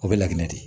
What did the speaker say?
O bɛ laginɛ di